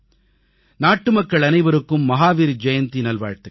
நாட்டுமக்கள் அனைவருக்கும் மஹாவீர் ஜெயந்தி நல்வாழ்த்துக்கள்